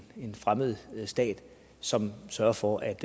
fremmed stat som sørger for at